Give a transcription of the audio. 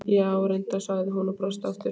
Já, reyndar, sagði hún og brosti aftur.